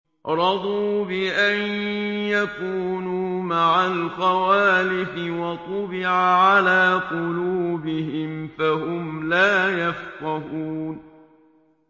رَضُوا بِأَن يَكُونُوا مَعَ الْخَوَالِفِ وَطُبِعَ عَلَىٰ قُلُوبِهِمْ فَهُمْ لَا يَفْقَهُونَ